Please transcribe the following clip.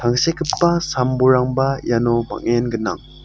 sekgipa sam-bolrangba iano bang·en gnang.